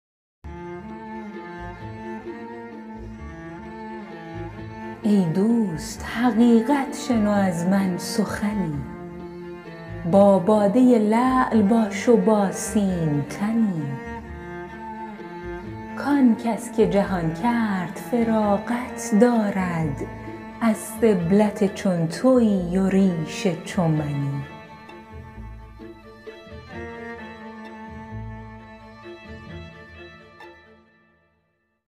ای دوست حقیقت شنو از من سخنی با باده لعل باش و با سیم تنی که آنکس که جهان کرد فراغت دارد از سبلت چون تویی و ریش چو منی